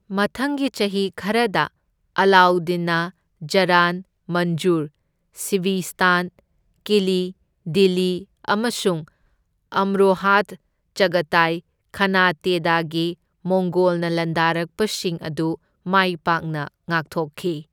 ꯃꯊꯪꯒꯤ ꯆꯍꯤ ꯈꯔꯗ ꯑꯂꯥꯎꯗꯤꯟꯅ ꯖꯔꯥꯟ ꯃꯟꯖꯨꯔ, ꯁꯤꯚꯤꯁ꯭ꯇꯥꯟ, ꯀꯤꯂꯤ, ꯗꯤꯜꯂꯤ ꯑꯃꯁꯨꯡ ꯑꯝꯔꯣꯍꯥꯗ ꯆꯒꯇꯥꯏ ꯈꯥꯅꯥꯇꯦꯗꯒꯤ ꯃꯣꯡꯒꯣꯜꯅ ꯂꯥꯟꯗꯥꯔꯛꯄꯁꯤꯡ ꯑꯗꯨ ꯃꯥꯏ ꯄꯥꯛꯅ ꯉꯥꯛꯊꯣꯛꯈꯤ꯫